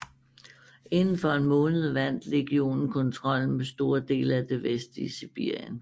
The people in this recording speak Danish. Inden for en måned vandt legionen kontrollen med store dele af det vestlige Sibirien